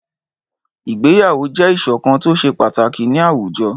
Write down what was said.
Ìgbéyàwó jẹ́ ìṣọ̀kan tó ṣe pàtàkì ní àwùjọ.